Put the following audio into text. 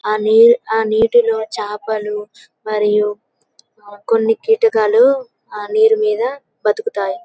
ఆ నీటిలో చాపలు మరియు కొన్ని కీటకాలు ఆ నీరు మీద బతుకుతాయి